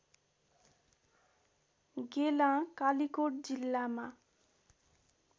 गेलाँ कालिकोट जिल्लामा